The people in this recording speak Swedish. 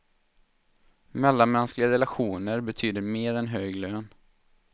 Mellanmänskliga relationer betyder mer än hög lön.